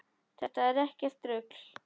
Þetta er ekkert rugl.